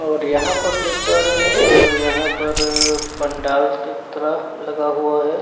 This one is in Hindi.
और यहां पर देख पा रहे हैं तो यहां पर पंडाल की तरह लगा हुआ हैं।